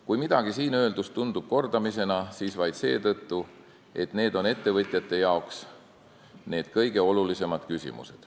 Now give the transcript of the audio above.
Kui midagi siin öeldust tundub kordamisena, siis vaid seetõttu, et need on ettevõtjate jaoks need kõige olulisemad küsimused.